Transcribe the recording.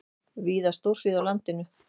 Víða stórhríð á landinu